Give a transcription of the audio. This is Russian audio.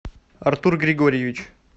артур григорьевич